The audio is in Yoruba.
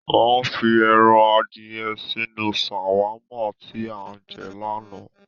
Wọn fi ẹran adìyẹ sínú ṣàwámà tí a jẹ láánaà.